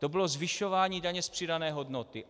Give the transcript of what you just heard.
To bylo zvyšování daně z přidané hodnoty.